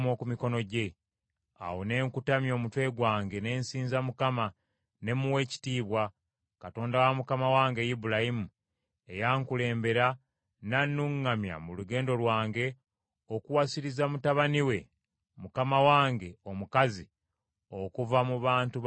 Awo ne nkutamya omutwe gwange ne nsinza Mukama ne muwa ekitiibwa, Katonda wa mukama wange Ibulayimu eyankulembera nannuŋŋamya mu lugendo lwange okuwasiriza mutabani wa mukama wange omukazi okuva mu bantu ba mukama wange.